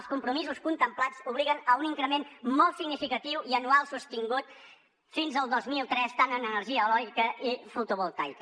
els compromisos contemplats obliguen a un increment molt significatiu i anual sostingut fins al dos mil trenta tant en energia eòlica i fotovoltaica